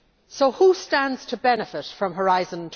So who stands to benefit from Horizon